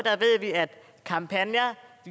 er at kampagner